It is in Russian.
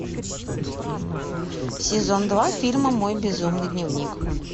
сезон два фильма мой безумный дневник